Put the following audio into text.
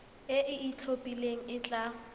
e e itlhophileng e tla